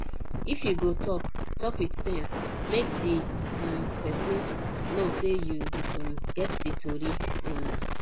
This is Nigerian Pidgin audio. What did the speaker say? if yu go tok tok wit sense mek di um pesin no sey yu um get di tori um